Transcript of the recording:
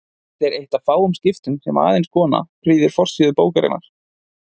Þetta er eitt af fáum skiptum sem aðeins kona prýðir forsíðu bókarinnar.